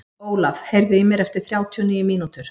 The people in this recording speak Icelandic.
Ólaf, heyrðu í mér eftir þrjátíu og níu mínútur.